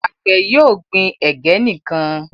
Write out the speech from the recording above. Àgbè yóò gbìn ẹgẹ nìkàn.